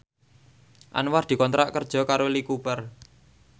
Anwar dikontrak kerja karo Lee Cooper